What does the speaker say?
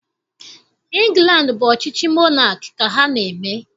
Ịngland bụ ọchịchị monaki ka ha na-eme